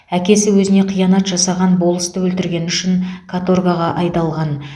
әкесі өзіне қиянат жасаған болысты өлтіргені үшін каторгаға айдалған